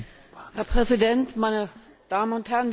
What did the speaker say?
Herr Präsident, meine Damen und Herren!